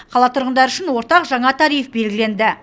қала тұрғындары үшін ортақ жаңа тариф белгіленді